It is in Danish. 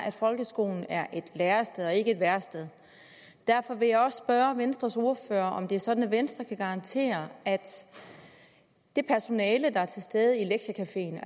at folkeskolen er et lærested og ikke et værested og derfor vil jeg også spørge venstres ordfører om det er sådan at venstre kan garantere at det personale der er til stede i lektiecafeen